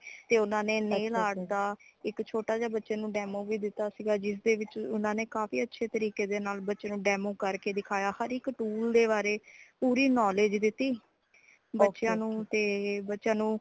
ਤੇ ਉਨ੍ਹਾਂਨੇ nail art ਦਾ ਇਕ ਛੋਟਾ ਜੀਆ ਬੱਚੇ ਨੂੰ demo ਵੀ ਦਿਤਾ ਸੀਗਾ ਜਿਸਦੇ ਵਿਚ ਉਨ੍ਹਾਂਨੇ ਕਾਫ਼ੀ ਅੱਛੇ ਤਰੀਕੇ ਦੇ ਨਾਲ ਬੱਚੇ ਨੂੰ demo ਕਰ ਕੇ ਦਿਖਾਯਾ ਹਰ ਇਕ tool ਦੇ ਬਾਰੇ ਪੁਰੀ knowledge ਦੀਤੀ ,ਬੱਚਿਆਂ ਨੂੰ ,ਤੇ ਬੱਚਿਆਂ ਨੂੰ